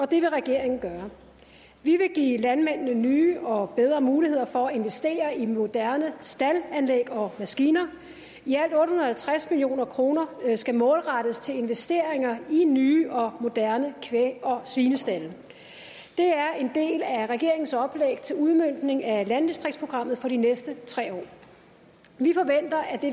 det vil regeringen gøre vi vil give landmændene nye og bedre muligheder for at investere i moderne staldanlæg og maskiner i alt otte hundrede og halvtreds million kroner skal målrettes investeringer i nye og moderne kvæg og svinestalde det er en del af regeringens oplæg til udmøntning af landdistriktsprogrammet for de næste tre år vi forventer at det